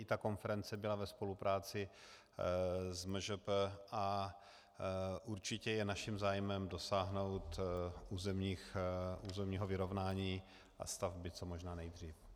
I ta konference byla ve spolupráci s MŽP a určitě je naším zájmem dosáhnout územního vyrovnání a stavby co možná nejdřív.